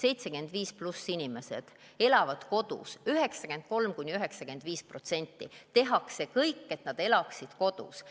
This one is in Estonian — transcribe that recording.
93–95% üle 75-aastastest inimestest elab kodus, tehakse kõik, et nad elaksid kodus.